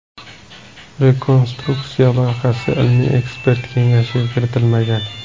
Rekonstruksiya loyihasi ilmiy-ekspert kengashiga kiritilmagan .